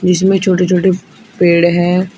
इसमें छोटे छोटे पेड़ हैं।